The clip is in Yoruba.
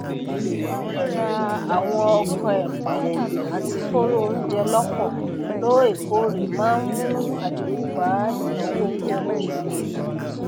ríra àwọn ọka ẹpà àti koro ounjẹ lọpọ looekoore máa n mú àdínkù bá ìnáwó oúnjẹ lóṣooṣù